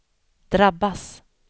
drabbas